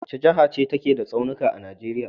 Wace jaha ce take da tsaunika a Nijeriya?